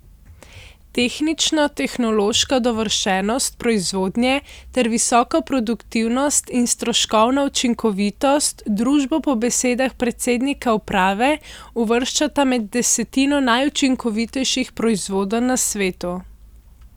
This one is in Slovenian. Tehnično tehnološka dovršenost proizvodnje ter visoka produktivnost in stroškovna učinkovitost družbo po besedah predsednika uprave uvrščata med desetino najučinkovitejših proizvodenj na svetu.